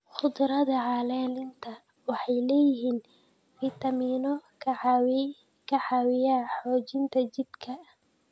Khudradda caleenta waxay leeyihiin fitamiinno ka caawiya xoojinta jidhka.